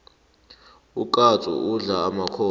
ukatsu udla emakhondlo